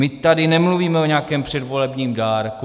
My tady nemluvíme o nějakém předvolebním dárku.